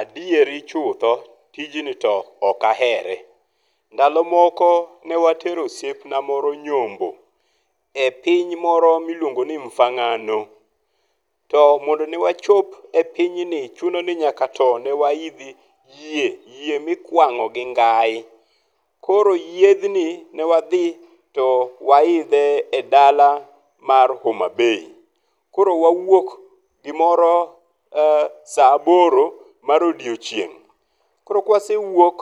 Adieri chutho, tijni to ok ahere. Ndalo moko ne watero osiepna moro nyombo e piny moro miluongo ni Mfangano. To mondo ne wachop e pinyni chuno ni nyaka to ne waidhi yie. Yie mikwang'o gi ngai. Koro yiedhni ne wadhi to wa idhe e dala mar Homa Bay. Kor wawuok gimoro sa aboro mar odiochieng'. Koro kwasewuok,